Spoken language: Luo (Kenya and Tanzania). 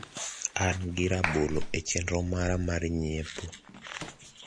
an gi rabolo e chenro mara mar nyiepo